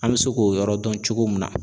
An bɛ se k'o yɔrɔ dɔn cogo min na